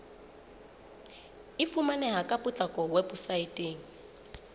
e fumaneha ka potlako weposaeteng